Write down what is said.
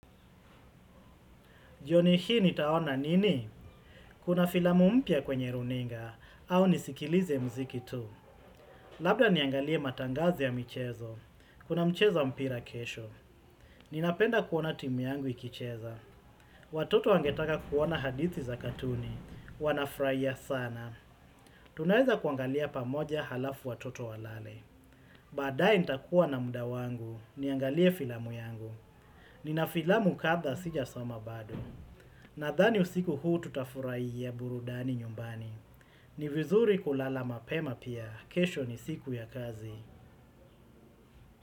Jioni hii nitaona nini? Kuna filamu mpya kwenye runinga, au nisikilize muziki tu. Labda niangalie matangazo ya michezo, kuna mchezowa mpira kesho. Ninapenda kuona timu yangu ikicheza. Watoto wangetaka kuona hadithi za katuni, wanafurahia sana. Tunaweza kuangalia pamoja halafu watoto walale. Baadaye nitakuwa na muda wangu, niangalie filamu yangu. Nina filamu kadha sija soma bado. Na dhani usiku huu tutafurahi a burudani nyumbani. Ni vizuri kulala mapema pia. Kesho ni siku ya kazi.